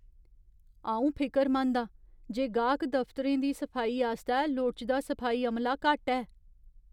अं'ऊ फिकरमंद आं जे गाह्क दफ्तरें दी सफाई आस्तै लोड़चदा सफाई अमला घट्ट ऐ ।